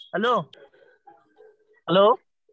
Hello hello?